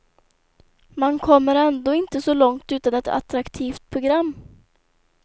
Man kommer ändå inte så långt utan ett attraktivt program.